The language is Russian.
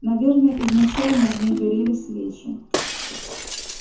наверное изначально в ней горели свечи